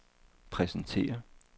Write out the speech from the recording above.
præsentere